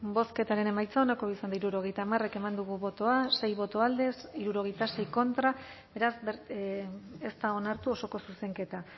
bozketaren emaitza onako izan da hirurogeita hamar eman dugu bozka sei boto alde sesenta y seis contra beraz ez da onartu osoko zuzenketa